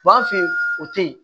B'an fɛ yen o tɛ yen